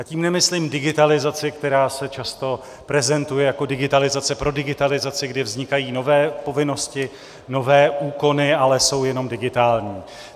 A tím nemyslím digitalizaci, která se často prezentuje jako digitalizace pro digitalizaci, kdy vznikají nové povinnosti, nové úkony, ale jsou jenom digitální.